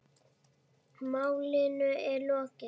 Málinu er lokið.